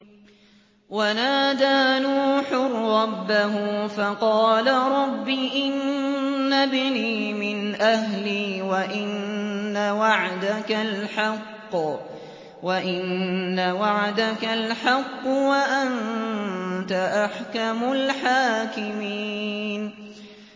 وَنَادَىٰ نُوحٌ رَّبَّهُ فَقَالَ رَبِّ إِنَّ ابْنِي مِنْ أَهْلِي وَإِنَّ وَعْدَكَ الْحَقُّ وَأَنتَ أَحْكَمُ الْحَاكِمِينَ